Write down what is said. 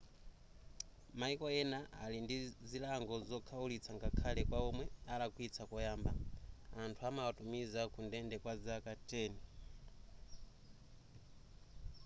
mayiko ena ali ndi zilango zokhaulitsa ngakhale kwa omwe alakwitsa koyamba anthu amawatumiza kundende kwa zaka 10